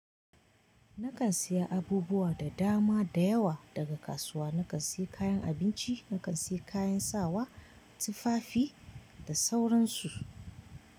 Nakan siya abubuwa da dama da yawa daga kasuwa. Nakan sai kayan abinci, nakan sai kayan sawa, tufafi da sauransu.